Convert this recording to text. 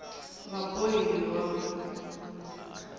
vabohiwa